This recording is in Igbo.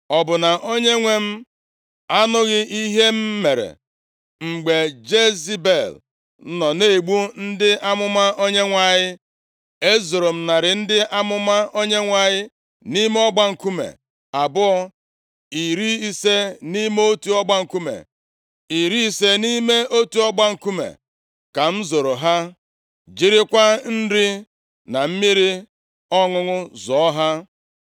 Ọ bụ na onyenwe m anụghị ihe m mere mgbe Jezebel nọ na-egbu ndị amụma Onyenwe anyị? E zoro narị ndị amụma Onyenwe anyị nʼime ọgba nkume abụọ, iri ise nʼime otu ọgba nkume, iri ise nʼime otu ọgba nkume ka m zoro ha, jirikwa nri na mmiri ọṅụṅụ zụọ ha.